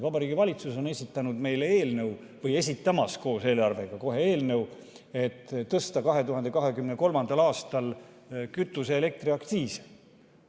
Vabariigi Valitsus on esitanud meile eelnõu või on kohe esitamas koos eelarvega eelnõu, et tõsta 2023. aastal kütuse‑ ja elektriaktsiisi.